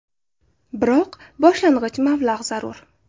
Biroq boshlang‘ich mablag‘ zarur.